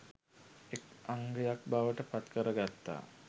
එක් අංගයක් බවට පත්කර ගත්තා.